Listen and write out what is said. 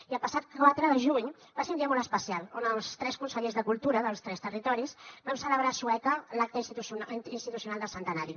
i el passat quatre de juny va ser un dia molt especial on els tres consellers de cultura dels tres territoris vam celebrar a sueca l’acte institucional del centenari